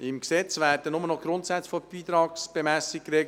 Im Gesetz werden nur noch die Grundsätze der Beitragsbemessung geregelt.